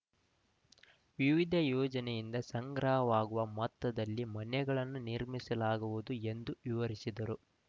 ವಿವಿಧ ಯೋಜನೆಯಿಂದ ಸಂಗ್ರಹವಾಗುವ ಮೊತ್ತದಲ್ಲಿ ಮನೆಗಳನ್ನು ನಿರ್ಮಿಸಲಾಗುವುದು ಎಂದು ವಿವರಿಸಿದರು